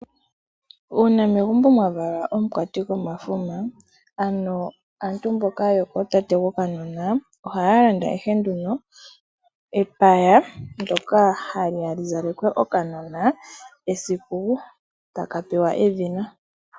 Uuna megumbo mwavalwa omukwati gomafuma ,ank aantu mboka yokoohe yokanona ohaya landa ihe nduno epaya nsoka haliya lizalekwe okanona esiku taka pewa edhina.